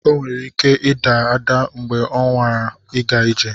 O nwere ike ịda mgbe ọ nwara ịga ije.